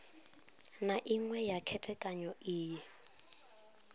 na iṅwe ya khethekanyo iyi